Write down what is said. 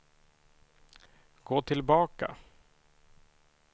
gå tillbaka